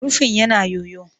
Rufin yana yoyo